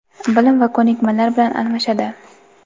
bilim va ko‘nikmalar bilan almashadi.